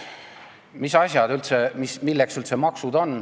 Milleks üldse maksud on?